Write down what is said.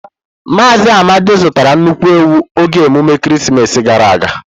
Mazị Amadi zụtara nnukwu ewu oge emume ekeresimesi gara aga.